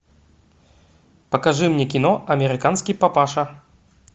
покажи мне кино американский папаша